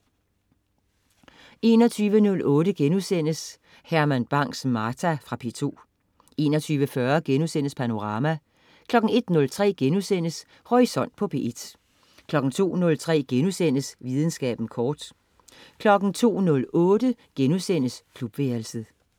21.08 Herman Bang: Martha* Fra P2 21.40 Panorama* 01.03 Horisont på P1* 02.03 Videnskaben kort* 02.08 Klubværelset*